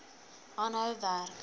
aanhou werk